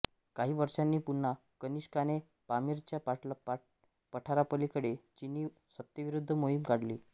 काही वर्षांनी पुन्हा कनिष्काने पामीरच्या पठारापलीकडे चिनी सत्तेविरूद्ध मोहिम काढली